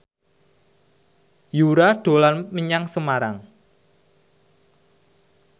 Yura dolan menyang Semarang